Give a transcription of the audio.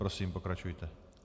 Prosím, pokračujte.